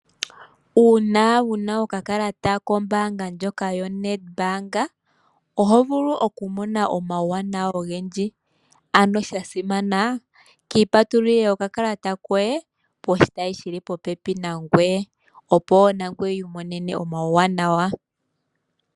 Una wuna okakalata kombaanga ndjoka yoNedbank oho vulu okumona omauwanawa ogendji. Ano sha simana kiipatulile okakalata koye poshitayi shi li popepi nangoye opo nangoye wu imonene omauwanawa.